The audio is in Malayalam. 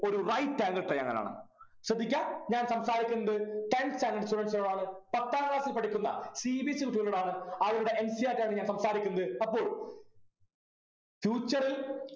ഒരു right angle triangle ആണ് ശ്രദ്ധിക്കാ ഞാൻ സംസാരിക്കുന്നത് tenth standard students നോടാണ് പത്താം class ൽ പഠിക്കുന്ന cbse കുട്ടികളോടാണ് അവരുടെ NCERT ആണ് ഞാൻ സംസാരിക്കുന്നത് അപ്പോൾ future ൽ